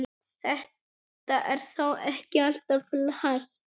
Þetta er þó ekki alltaf hægt.